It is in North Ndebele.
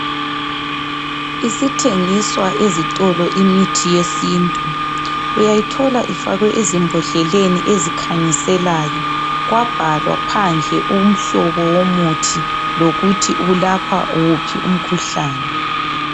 Isithengiswa ezitolo imithi yesintu. Uyayithola ifakwe ezimbodleleni ezikhanyiselayo kwabhalwa phandle umhlobo womuthi lokuthi welapha wuphi umkhuhlane.